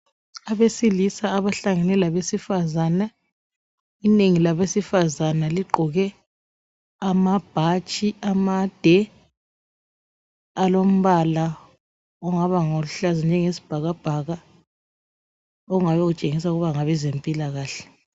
Abesilisa abahlangane labesifazana inengi labe sifazane ligqoke amabhatshi amade alombala ongani luhlaza okwesibhakabhaka okungabe kutshengisa ukuthi ngabe mpilakahle